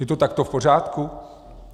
Je to takto v pořádku?